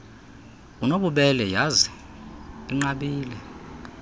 unobubele yhazi inqabile